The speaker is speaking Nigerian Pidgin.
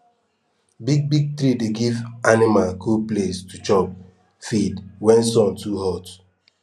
big big tree dey give anima cool place to chop feed wen sun too hot